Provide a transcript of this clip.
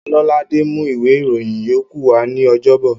Ọlọ́ládé mú ìwé ìròyìn yókù wa ní ọjọ́bọ̀